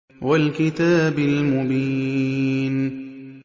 وَالْكِتَابِ الْمُبِينِ